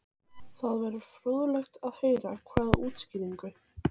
Krists, og höfuðið hallast til vinstri.